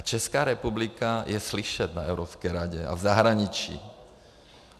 A Česká republika je slyšet na Evropské radě a v zahraničí.